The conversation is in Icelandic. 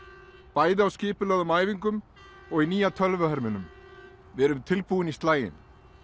bæði á skipulögðum æfingum og í nýja tölvuherminum við erum tilbúin í slaginn